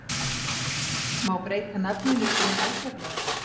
Má breyta nafninu sínu algjörlega?